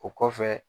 O kɔfɛ